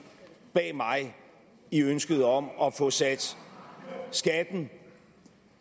bag mig i ønsket om at få sat skatten